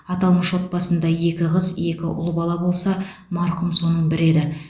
аталмыш отбасында екі қыз екі ұл бала болса марқұм соның бірі еді